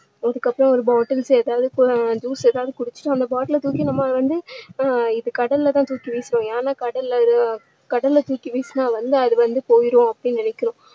அதுக்கப்பறம் ஒரு bottles ஏதாவது juice ஏதாவது குடிச்சிட்டு அந்த bottle அ தூக்கி நம்ம வந்து அஹ் கடல்ல தான் தூக்கி வீசுவோம் ஏன்னா கடல்ல இது~கடல்ல தூக்கி வீசுனா வந்து அது வந்து போயிடும் அப்படின்னு நினைக்குறோம்.